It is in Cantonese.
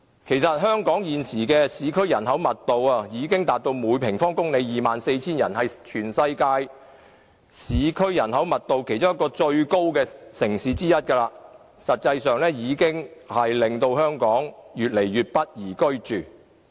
其實，香港現時的市區人口密度已達到每平方公里 24,000 人，是全世界市區人口密度最高的其中一個城市，令香港越來越不宜居住。